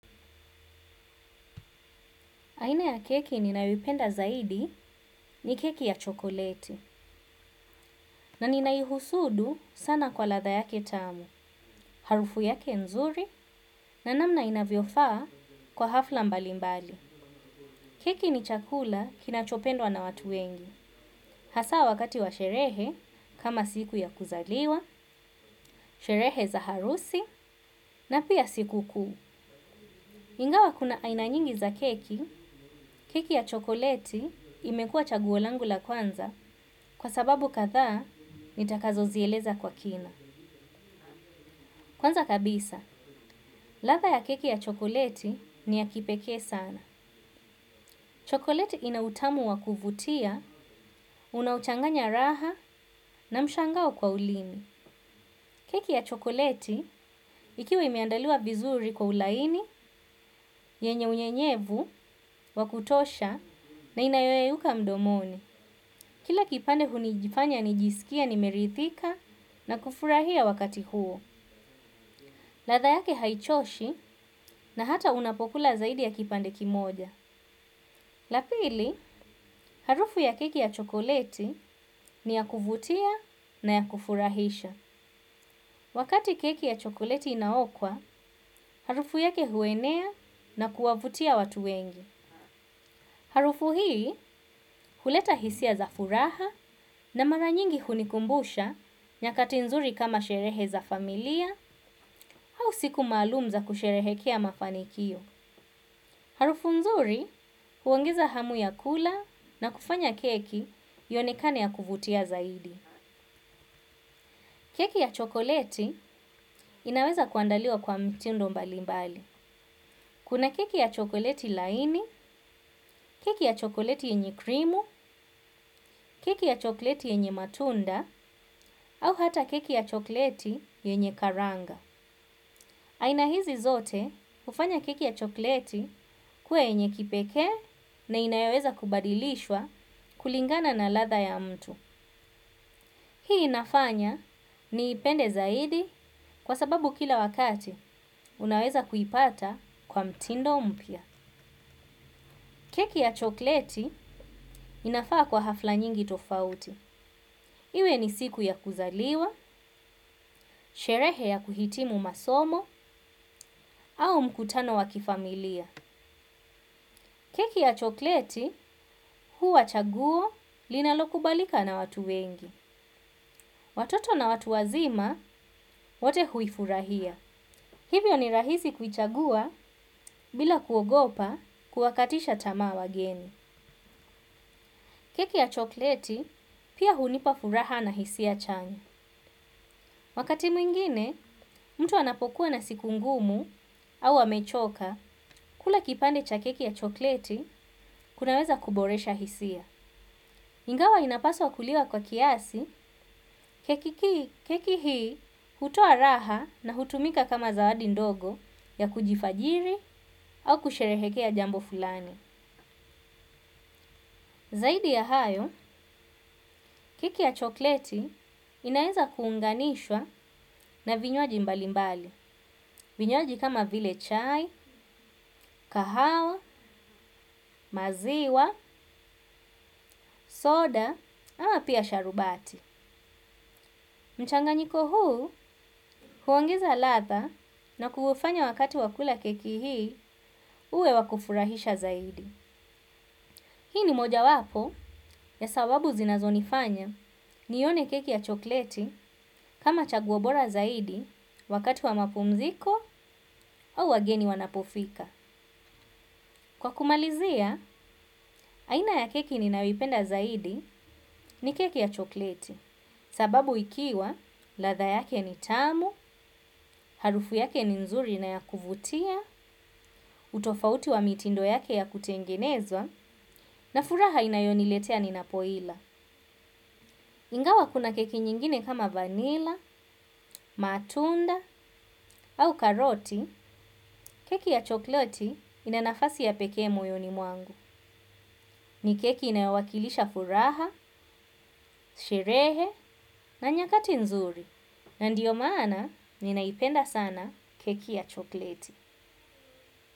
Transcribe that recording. Aina ya keki ninayoipenda zaidi ni keki ya chokoleti na ninaihusudu sana kwa ladha yake tamu, harufu yake nzuri na namna inavyofaa kwa hafla mbali mbali. Keki ni chakula kinachopendwa na watu wengi, hasa wakati wa sherehe kama siku ya kuzaliwa, sherehe za harusi na pia sikukuu. Ingawa kuna aina nyingi za keki, keki ya chokoleti imekuwa chaguo langu la kwanza kwa sababu kadhaa nitakazo zieleza kwa kina. Kwanza kabisa, ladha ya keki ya chokoleti ni ya kipekee sana. Chokoleti ina utamu wa kuvutia, unaocanganya raha na mshangao kwa ulimi. Keki ya chokoleti ikiwa imeandaliwa vizuri kwa ulaini, yenye unyenyevu, wakutosha na inayoyeuka mdomoni. Kila kipande hunijifanya nijisikie nimerithika na kufurahia wakati huo. Ladha yake haichoshi na hata unapokula zaidi ya kipande kimoja. La pili, harufu ya keki ya chokoleti ni ya kuvutia na ya kufurahisha. Wakati keki ya chokoleti inaokwa harafu yake huenea na kuwavutia watu wengi. Harufu hii huleta hisia za furaha na mara nyingi hunikumbusha nyakati nzuri kama sherehe za familia au siku maalum za kusherehekea mafanikio. Harafu nzuri huongeza hamu ya kula na kufanye keki ionekane ya kuvutia zaidi. Keki ya chokoleti inaweza kuandaliwa kwa mtindo mbali mbali. Kuna keki ya chokoleti laini, keki ya chokoleti yenye krimu, keki ya chokoleti yenye matunda, au hata keki ya chokoleti yenye karanga. Aina hizi zote hufanya keki ya chokoleti kuwa yenye kipekee na inayoweza kubadilishwa kulingana na ladha ya mtu. Hii inafanya niipende zaidi kwa sababu kila wakati unaweza kuipata kwa mtindo mpya. Keki ya chokleti inafaa kwa hafla nyingi tofauti. Iwe ni siku ya kuzaliwa, sherehe ya kuhitimu masomo, au mkutano wakifamilia. Keki ya chokleti huwa chaguo linalokubalika na watu wengi. Watoto na watu wazima wote huifurahia. Hivyo ni rahiai kuichagua bila kuogopa kuwakatisha tamaa wageni. Keki ya chokleti pia hunipa furaha na hisia chanya. Wakati mwingine, mtu anapokuwa na siku ngumu au amechoka, kula kipande cha keki ya chokleti kunaweza kuboresha hisia. Ingawa inapaswa kuliwa kwa kiasi, keki hii hutoa raha na hutumika kama zawadi ndogo ya kujifajiri au kusherehekea jambo fulani. Zaidi ya hayo, keki ya chokleti inaweza kuunganishwa na vinywaji mbali mbali. Vinywaji kama vile chai, kahawa, maziwa, soda, ama pia sharubati. Mchanganyiko huu, huongezq ladha na kufanya wakati wakula keki hii, uwe wa kufurahisha zaidi. Hii ni mojawapo ya sababu zinazonifanya nione keki ya chokleti kama chaguo bora zaidi wakati wa mapumziko au wageni wanapofika. Kwa kumalizia, aina ya keki ni ninayoipenda zaidi ni keki ya chokleti sababu ikiwa ladha yake ni tamu, harufu yake ni nzuri na ya kuvutia, tofauti wa mitindo yake wa kutengenezwa na furaha inayoniletea ninapo ila. Ingawa kuna keki nyingine kama vanila, matunda, au karoti, keki ya chokleti ina nafasi ya pekee moyoni mwangu. Ni keki inayowakilisha furaha, sherehe, na nyakati nzuri. Na ndio maana ninaipenda sana keki ya chokleti.